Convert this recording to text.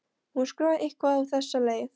Hún skrifar eitthvað á þessa leið: